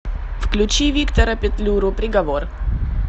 включи виктора петлюру приговор